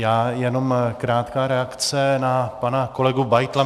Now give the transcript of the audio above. Já jenom krátká reakce na pana kolegu Beitla.